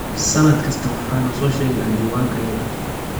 Sannad kasta waxaanu soo sheegnaa diiwaankayaga.